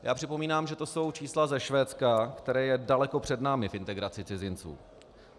Já připomínám, že to jsou čísla ze Švédska, které je daleko před námi v integraci cizinců.